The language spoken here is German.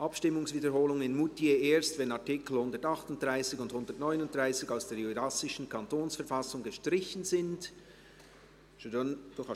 «Abstimmungswiederholung in Moutier erst, wenn Artikel 138 und 139 aus der jurassischen Kantonsverfassung gestrichen sind!».